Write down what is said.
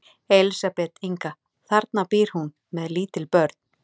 Elísabet Inga: Þarna býr hún með lítil börn?